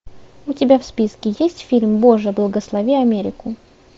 у тебя в списке есть фильм боже благослови америку